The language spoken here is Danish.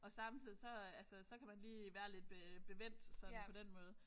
Og samtidig så øh altså så kan man lige være lidt øh bevendt sådan på den måde